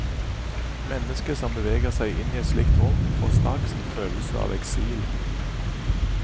Mennesket som beveger seg inn i et slikt rom, får straks en følelse av eksil.